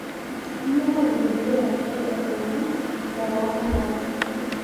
kanyoo naloito dukuya tiatwa ilomon lee taa le nkop